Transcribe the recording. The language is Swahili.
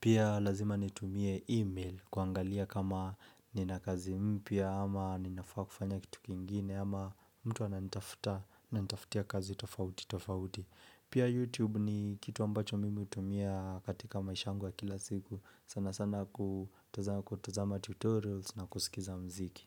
Pia lazima nitumie email kuangalia kama nina kazi mpya ama ninafaa kufanya kitu kingine ama mtu ananitafuta ananitafutia kazi tofauti tofauti. Pia youtube ni kitu ambacho mimi hutumia katika maisha yangu wa kila siku. Sana sana kutazama tutorials na kusikiza mziki.